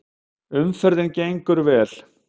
Umferðin gengur vel